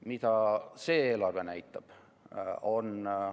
Mida see eelarve näitab?